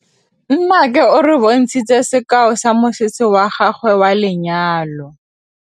Nnake o re bontshitse sekaô sa mosese wa gagwe wa lenyalo.